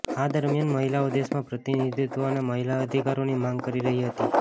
આ દરમિયાન મહિલાઓ દેશમાં પ્રતિનિધિત્વ અને મહિલા અધિકારોની માંગ કરી રહી હતી